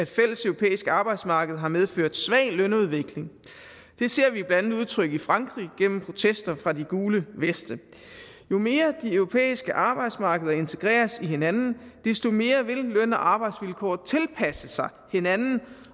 fælleseuropæisk arbejdsmarked har medført svag lønudvikling det ser vi blandt andet udtrykt i frankrig gennem protester fra de gule veste jo mere de europæiske arbejdsmarkeder integreres i hinanden desto mere vil løn og arbejdsvilkår tilpasse sig hinanden